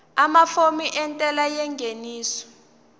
amafomu entela yengeniso